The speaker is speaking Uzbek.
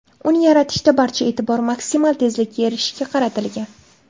Uni yaratishda barcha e’tibor maksimal tezlikka erishishga qaratilgan.